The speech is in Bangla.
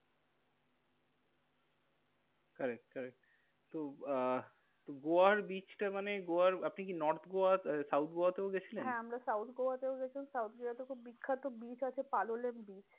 Corrcet correct তো আহ গোয়ার beach টা মানে গোয়ার আপনি কি north গোয়া south গোয়াতেও গেছিলেন? হ্যাঁ আমরা south গোয়াতেও গেছি। south গোয়াতে খুব বিখ্যাত beach আছে পালোলেম beach.